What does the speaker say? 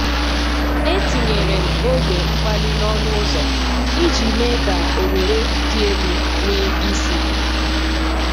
Etinyere m ogwe mkpali n’ọnụ ụzọ iji mee ka oghere dị elu nwee isi.